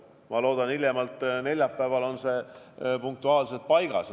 Ma loodan, et hiljemalt neljapäeval on see punktuaalselt paigas.